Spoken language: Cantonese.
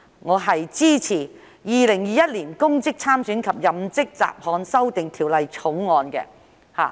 我支持《2021年公職條例草案》。